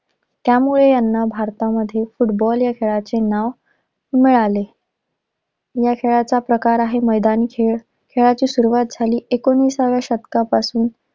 त्यामुळे याना भारतामध्ये फुटबॉल या खेळाचे नाव मिळाले. या खेळाचा प्रकार आहे मैदानी खेळ, खेळाची सुरुवात झाली एकोणिसाव्या शतकापासून.